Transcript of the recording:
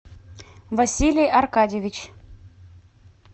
василий аркадьевич